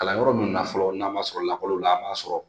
Kalanyɔrɔ ninnu na fɔlɔ n'an ma sɔrɔ lakɔli la an b'a sɔrɔ